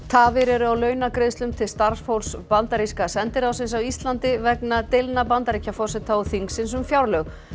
tafir eru á launagreiðslum til starfsfólks bandaríska sendiráðsins á Íslandi vegna deilna Bandaríkjaforseta og þingsins um fjárlög